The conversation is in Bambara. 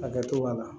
A kɛcogoya la